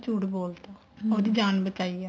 ਝੂਠ ਬੋਲਤਾ ਉਹਦੀ ਜਾਨ ਬਚਾਈ ਆ